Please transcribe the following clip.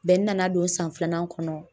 n nana don san filanan kɔnɔ